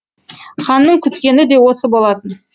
ханның күткені де осы болатын